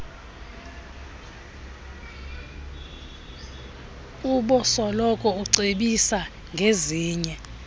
ubosoloko ucebisa ngezinye